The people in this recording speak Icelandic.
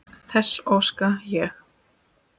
Þess óska ég.